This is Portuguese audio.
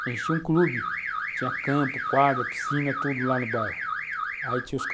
A gente tinha um clube, tinha campo, quadra, piscina, tudo lá no bairro. Aí tinha...